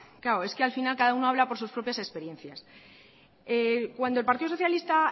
al final cada uno habla por sus propias experiencias cuando el partido socialista